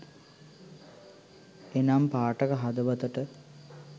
එනම් පාඨක හදවතට